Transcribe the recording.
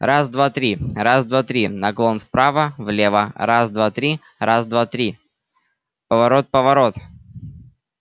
раз-два-три раз-два-три наклон вправо влево раз-два-три раз-два-три поворот-поворот